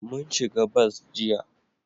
Mun shiga bas jiya